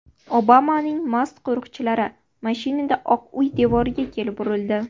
Obamaning mast qo‘riqchilari mashinada Oq uy devoriga kelib urildi.